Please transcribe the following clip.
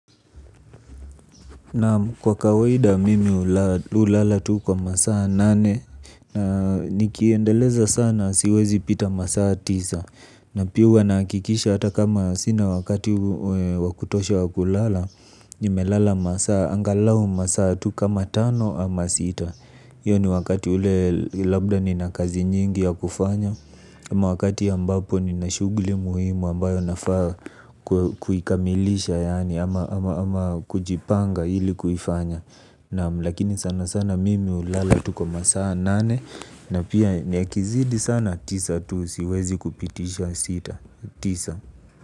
Naam kwa kawaida mimi hulala tu kwa masaa nane na nikiendeleza sana siwezi pita masaa tisa na pia huwa nahakikisha hata kama sina wakati wa kutosha wa kulala nimelala masaa angalau masaa tu kama tano ama sita hiyo ni wakati ule labda nina kazi nyingi ya kufanya. Ama wakati ambapo nina shughuli muhimu ambayo nafaa kuikamilisha yaani ama kujipanga ili kufanya. Naam lakini sana sana mimi hulala tu kwa masaa nane na pia yakizidi sana tisa tu siwezi kupitisha. Tisa.